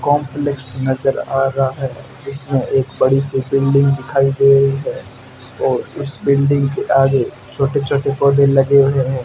Complex नजर आ रहा है जिसमें एक बड़ी सी बिल्डिंग दिखाई दे रही है और इस बिल्डिंग के आगे छोटे छोटे पौधे लगे हुए हैं।